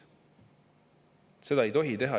Seda ei tohi teha.